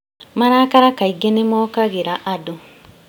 Marakara kaingĩ nĩmokagĩra andũ